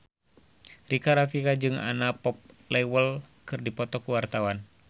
Rika Rafika jeung Anna Popplewell keur dipoto ku wartawan